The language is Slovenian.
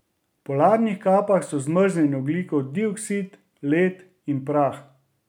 V polarnih kapah so zmrznjen ogljikov dioksid, led in prah.